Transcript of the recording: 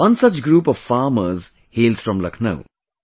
One such group of farmers hails from Lucknow